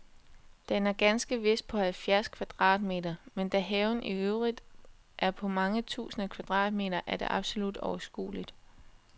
Den er ganske vist på halvfjerds kvadratmeter, men da haven i øvrigt er på mange tusinde kvadratmeter, er det absolut overskueligt.